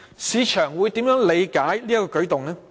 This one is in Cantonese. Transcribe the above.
市場會如何理解這個舉動？